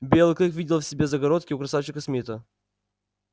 белый клык видел в себе загородке у красавчика смита